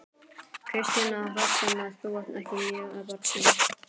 Kristinn Hrafnsson: Þú ert ekki mjög bjartsýn?